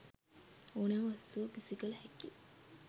ඕනෑම වස්තුවක් විසි කළ හැකි.